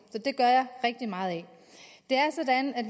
så det gør jeg rigtig meget det er sådan at